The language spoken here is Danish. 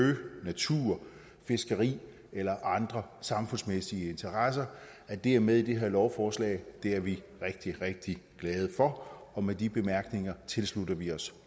natur fiskeri eller andre samfundsmæssige interesser at det er med i det her lovforslag er vi rigtig rigtig glade for med de bemærkninger tilslutter vi os